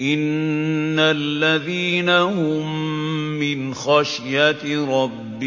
إِنَّ الَّذِينَ هُم مِّنْ خَشْيَةِ رَبِّهِم